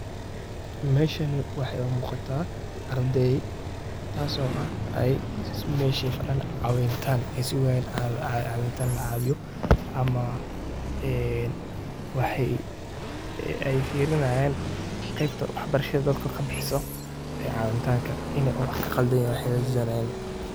Helb waa nooc ka mid ah digirta oo si weyn looga isticmaalo cuntooyinka dhaqanka Kenya iyo guud ahaan Geeska Afrika. Waxay ka mid tahay legume-yada hodanka ku ah borotiinka, fiitamiinada, iyo macdanta muhiimka ah ee jidhku u baahan yahay. Helbku wuxuu leeyahay dhadhan macaan oo fudud, waxaana loo diyaariyaa siyaabo kala duwan